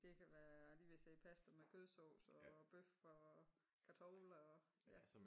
Det kan være a er lige med at sige pasta med kødsovs og bøf og kartofler og ja